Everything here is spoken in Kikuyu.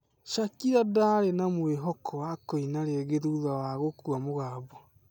Shakira ndaarĩ na mwĩvoko wa kũina rĩngĩ thutha wa gũkua mũgambo